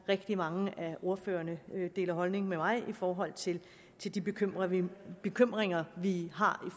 rigtig mange ordførere deler holdning med mig i forhold til til de bekymringer bekymringer vi har i